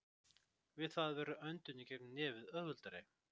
Við það verður öndun í gegnum nefið auðveldari.